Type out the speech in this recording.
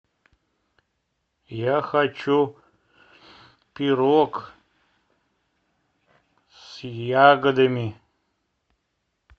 я хочу пирог с ягодами